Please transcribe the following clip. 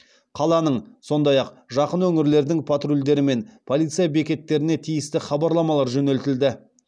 қаланың сондай ақ жақын өңірлердің патрульдері мен полиция бекеттеріне тиісті хабарламалар жөнелтілді